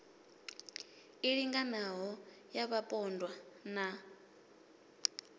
i linganaho ya vhapondwa na